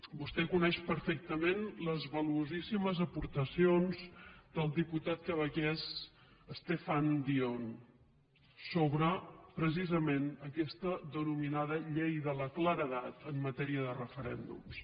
vostè coneix perfectament les valuosíssimes aportacions del diputat quebequès stéphane dion sobre precisament aquesta denominada llei de la claredat en matèria de referèndums